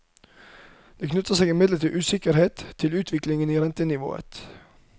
Det knytter seg imidlertid usikkerhettil utviklingen i rentenivået.